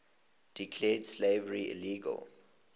declared slavery illegal